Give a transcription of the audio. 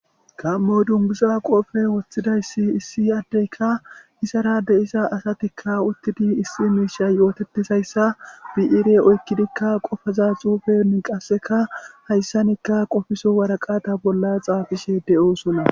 Gaamo dunguza qoope woththidayssi issi addeykka isara de'isa asatikka uttidi issi miisha yootetisayssa bi'iire oykkidikka qofaza xuufeni qasseka hayssanikka qofiso waraqata bolla xaafishe de'osona